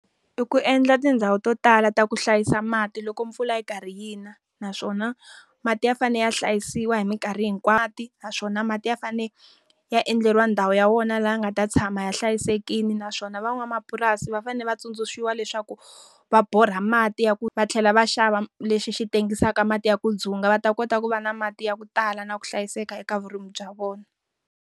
I ku endla tindhawu to tala ta ku hlayisa mati loko mpfula yi karhi yi na. Naswona mati ya fanele ya hlayisiwa hi minkarhi hinkwayo. Naswona mati ya fanele ya endleriwa ndhawu ya wona laha ya nga ta tshama ya hlayisekile naswona van'wamapurasi va fanele va tsundzuxa leswaku, va borha mati ya ku va tlhela va xava lexi xi tengisaka mati ya ku dzunga va ta kota ku va na mati ya ku tala na ku hlayiseka eka vurimi bya vona.